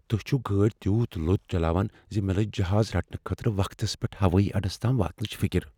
تُہۍ چھو گٲڑۍتیوت لوتِہ چلاوان ز مےٚ لٔج جہازٕ رٹنہٕ خٲطرٕ وقتس پیٹھ ہوٲیی اڈس تام واتنٕچ فکر۔